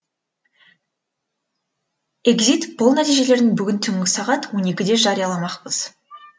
экзит пол нәтижелерін бүгін түнгі сағат он екіде жарияламақпыз